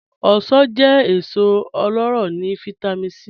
Ọ̀ṣọ̀n jẹ́ èsò ọlọ́rọ́ ni Vitamin C.